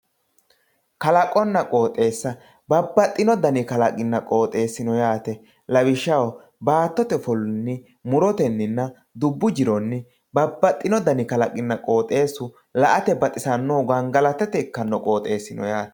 kalaqonna qooxeessa babbaxxino dani kalaqinna qooxeessi no yaate lawishshaho baattote ofollinyi murotenninna dubbu jironni babbaxxino dani kalaqinna qooxeessu la"ate baxisannohu gangalatate ikkanno qooxeessi no yaate.